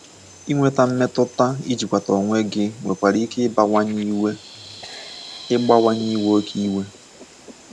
Inweta mmetuta ijikwata onwe gị nwekwara ike igbawanye iwe igbawanye iwe oke iwe